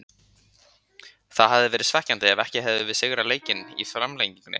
Það hefði verið svekkjandi ef við hefðum ekki sigrað leikinn í framlengingunni.